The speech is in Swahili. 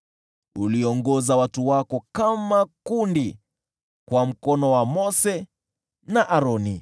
Uliongoza watu wako kama kundi kwa mkono wa Mose na Aroni.